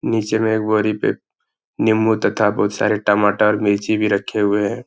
नीचे में एक बोरी पे निम्बुं तथा बोहोत सारे टमाटर मिर्ची भी रखे हुएं हैं।